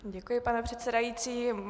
Děkuji, pane předsedající.